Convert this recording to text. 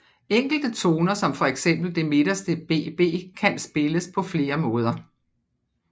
Enkelte toner som for eksempel det midterste Bb kan spilles på flere måder